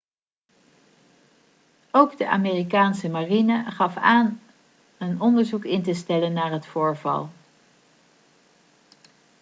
ook de amerikaanse marine gaf aan een onderzoek in te stellen naar het voorval